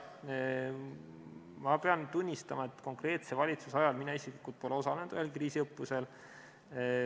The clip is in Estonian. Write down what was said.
Ma pean tunnistama, et konkreetse valitsuse ajal pole mina isiklikult osalenud ühelgi kriisiõppusel.